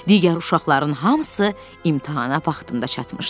Digər uşaqların hamısı imtahana vaxtında çatmışdı.